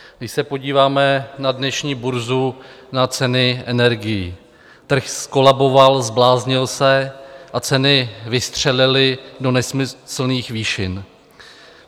Když se podíváme na dnešní burzu, na ceny energií, trh zkolaboval, zbláznil se a ceny vystřelily do nesmyslných výšin.